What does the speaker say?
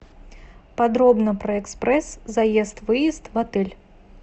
подробно про экспресс заезд выезд в отеле